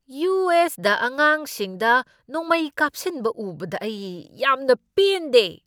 U. S. ꯗ ꯑꯉꯥꯡꯁꯤꯡꯗ ꯅꯣꯡꯃꯩ ꯀꯥꯞꯁꯤꯟꯕ ꯎꯕꯗ ꯑꯩ ꯌꯥꯝꯅ ꯄꯦꯟꯗꯦ ꯫